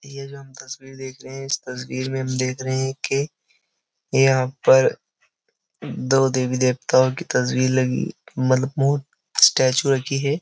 ये जो हम तस्वीर देख रहे हैं इस तस्वीर में हम देख रहे हैं कि यहां पर दो देवी देवताओं की तस्वीर लगी मतलब मोह स्टैचू रखी है।